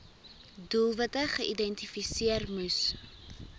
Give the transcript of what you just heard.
doelwitte geïdentifiseer moes